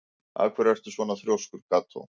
Af hverju ertu svona þrjóskur, Kató?